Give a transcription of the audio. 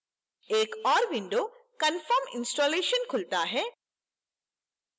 एक ओर window confirm installation खुलता है